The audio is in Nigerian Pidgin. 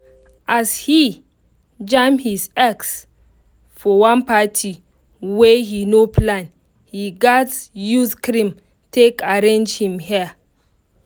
as he jam him ex for one party wey he no plan he gatz use cream take arrange him hair.